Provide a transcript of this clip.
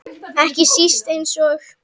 Ekki síst eins og